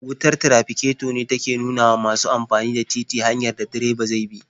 Wutar tirafiketo ce take nuna wa masu amfani da titi hanyar da direba zai bi.